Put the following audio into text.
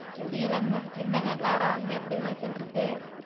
முடியலைங்க என்னங்க க்ளாரா அங்க எப்படி விளைச்சல் இருக்கு